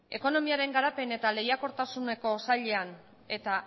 ekonomiaren garapen eta lehiakortasuneko sailean eta